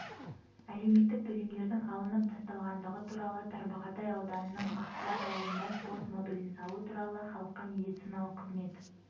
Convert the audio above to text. әлеуметтік төлемдердің алынып тасталғандығы туралы тарбағатай ауданының ақсуат ауылында спорт модулін салу туралы халыққа медициналық қызмет